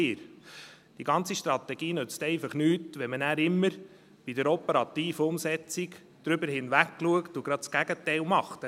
Die ganze Strategie nützt einfach nichts, wenn man nachher immer bei der operativen Umsetzung darüber hinwegsieht und gerade das Gegenteil macht.